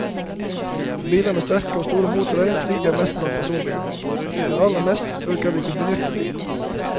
Biler med sterke og store motorer stiger mest blant personbilene, men aller mest øker de kombinerte bilene.